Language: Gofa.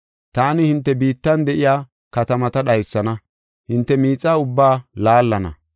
Taani hinte biittan de7iya katamata dhaysana; hinte miixa ubbaa laallana.